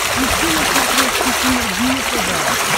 ищи на смотрешке синергия тв